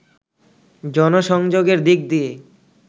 জনসংযোগের দিক দিয়ে